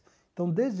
Então, desde